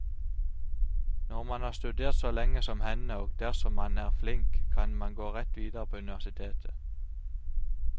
Når man har studert så lenge som henne, og dersom man er flink, kan man gå rett videre på universitetet.